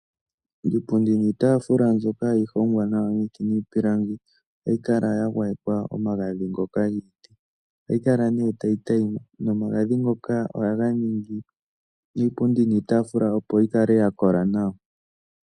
Iipundi niitaafula mbyoka hayi hongwa nawa miiti nomiipilangi ohayi kala ya gwayekwa omagadhi ngoka giiti. Ohayi kala nee tayi tayima. Nomagadhi ngoka ohaga ningi iipundi niitaafula opo yi kale ya kola nawa.